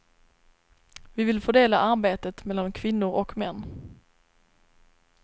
Vi vill fördela arbetet mellan kvinnor och män.